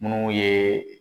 Munnu ye.